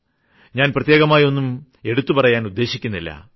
ഞാൻ പ്രത്യേകമായൊന്നും എടുത്തുപറയാൻ ഉദ്ദേശിക്കുന്നില്ല